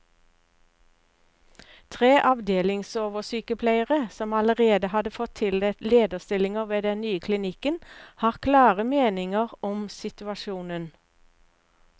Tre avdelingsoversykepleiere, som allerede har fått tildelt lederstillinger ved den nye klinikken, har klare meninger om situasjonen.